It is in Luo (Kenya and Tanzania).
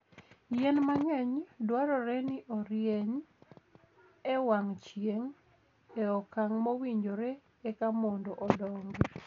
Yien mang'eny dwarore ni orieny e wang' chieng' e okang' mowinjore eka mondo odongi.